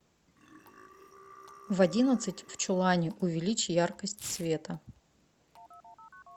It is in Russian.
в одиннадцать в чулане увеличь яркость света